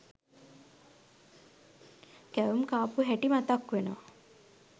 කැවුම් කාපු හැටි මතක් වෙනවා.